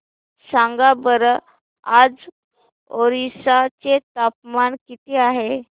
सांगा बरं आज ओरिसा चे तापमान किती आहे